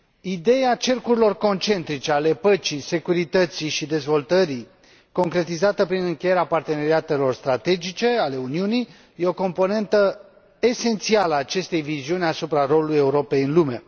Ideea cercurilor concentrice ale păcii, securității și dezvoltării, concretizată prin încheierea parteneriatelor strategice ale Uniunii, e o componentă esențială a acestei viziuni asupra rolului Europei în lume.